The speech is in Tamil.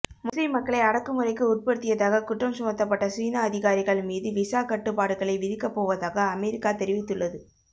முஸ்லீம் மக்களை அடக்குமுறைக்கு உட்படுத்தியதாக குற்றம்சுமத்தப்பட்ட சீன அதிகாரிகள் மீது விசா கட்டுப்பாடுகளை விதிக்கப்போவதாக அமெரிக்கா தெரிவித்துள்ளது